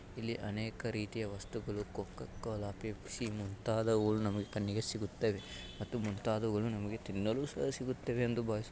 ಇಲ್ಲಿ ಅನೇಕ ರೀತಿಯ ವಸ್ತುಗಳು ಕೋಕೋ ಕೋಲಾ ಪೆಪ್ಸಿ ಮುಂತಾದವು ನಮ್ಮ ಕಣ್ಣಿಗೆ ಸಿಗುತ್ತವೆ ಮತ್ತು ಮುಂತಾದವುಗಳು ನಮಗೆ ತಿನ್ನಲು ಸಹ ಸಿಗುತ್ತವೆ ಎಂದು ಭಾವಿಸು --